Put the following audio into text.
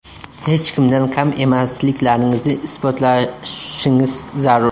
Hech kimdan kam emasliklaringizni isbotlashingiz zarur.